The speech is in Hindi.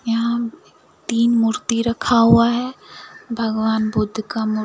यहां तीन मूर्ती रखा हुआ है भगवान बुद्ध का मूर्ती--